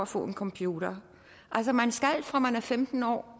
få en computer altså man skal have det fra man er femten år